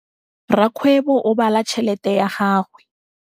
Rakgwêbô o bala tšheletê ya gagwe.